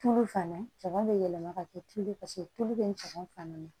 Tulu fana cama bɛ yɛlɛma ka kɛ tulu ye paseke tulu bɛ caman fana na